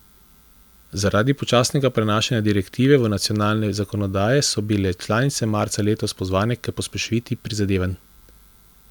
Zaradi počasnega prenašanja direktive v nacionalne zakonodaje so bile članice marca letos pozvane k pospešitvi prizadevanj.